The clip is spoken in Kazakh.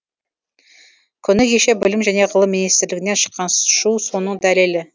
күні кеше білім және ғылым министрлігінен шыққан шу соның дәлелі